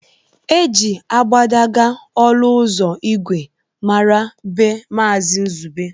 E ji agbadagba ọlụ ụzọ ìgwè mara be Mazi Nzube